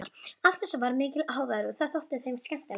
Af þessu varð mikill hávaði og það þótti þeim skemmtilegt.